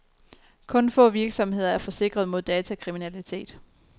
Kun få virksomheder er forsikret mod datakriminalitet.